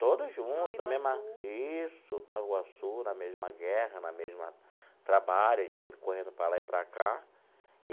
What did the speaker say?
Todos juntos, na mesma, isso Nova Iguaçu, na mesma guerra, na mesma... trabalha, a gente sempre correndo para lá e para cá.